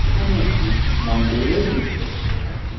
এখানে একটি মন্দিরের দৃশ্য দেখতে পাচ্ছি।